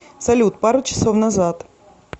салют пару часов назад